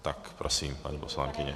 Tak prosím, paní poslankyně.